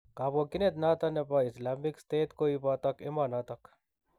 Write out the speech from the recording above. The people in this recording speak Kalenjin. Kabokyinet notok bo Islamic State koitobot emonotok.